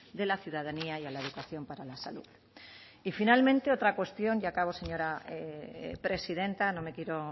de la ciudadanía y a la educación para la salud y finalmente otra cuestión y acabo señora presidenta no me quiero